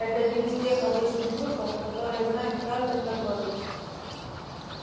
это один из тех обычных трюков которые знает каждый торговец